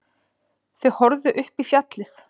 Þau horfðu upp í fjallið.